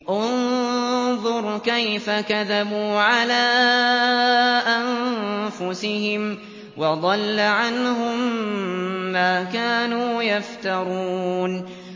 انظُرْ كَيْفَ كَذَبُوا عَلَىٰ أَنفُسِهِمْ ۚ وَضَلَّ عَنْهُم مَّا كَانُوا يَفْتَرُونَ